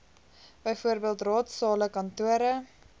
bv raadsale kantore